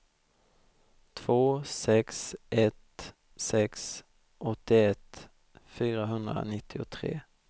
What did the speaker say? två sex ett sex åttioett fyrahundranittiotre